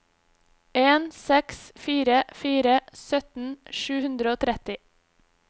en seks fire fire sytten sju hundre og tretti